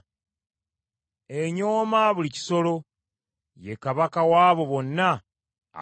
Enyooma buli kisolo. Ye kabaka w’abo bonna ab’amalala.”